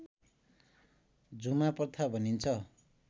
झुमा प्रथा भनिन्छ